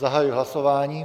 Zahajuji hlasování.